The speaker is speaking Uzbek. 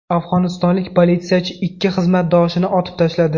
Afg‘onistonlik politsiyachi ikki xizmatdoshini otib tashladi.